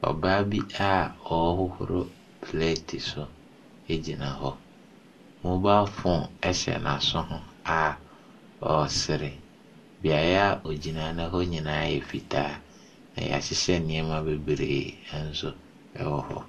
Ɔbaa bi a ɔrehohoro pleeti so gyina hɔ. Mobaa foon hyɛ n'aso ho a ɔresere. Beaeɛ a ɔgyina no hɔ nyinaa yɛ fitaa, na wɔhyehyɛ nneɛma bebree no wɔ hɔ.